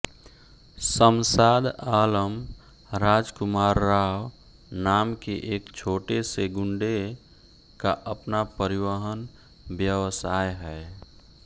शमशाद आलम राजकुमार राव नाम के एक छोटेसे गुंडे का अपना परिवहन व्यवसाय है